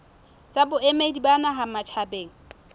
tsa boemedi ba naha matjhabeng